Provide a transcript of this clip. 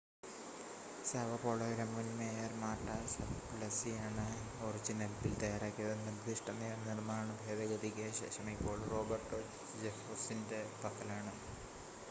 Sao പോളോയിലെ മുൻ mayor Marta സപ്ലിസിയാണ് ഒറിജിനൽ ബിൽ തയ്യാറാക്കിയത് നിർദ്ദിഷ്‌ട നിയമനിർമ്മാണം ഭേദഗതിക്ക് ശേഷം ഇപ്പോൾ റോബർട്ടോ ജെഫേഴ്സൻ്റെ പക്കലാണ്